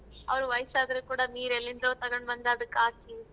Hour ವಯಸ್ಸಾದ್ರೂ ಕೂಡಾ ನೀರ್ ಎಲ್ಲಿಂದೊ ತಗೊಂಡ್ಬಂದ್ ಅದ್ಕ್ ಹಾಕಿ.